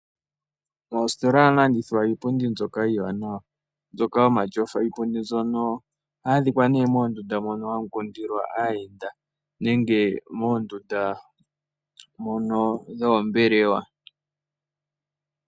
Moositola ohamu landithwa iipundi mbyoka iiwanawa mbyoka yomatyofa. Iipundi mbyono ohayi adhika moondunda mono hamu kundilwa aayenda nenge moondunda mono dhoombelewa.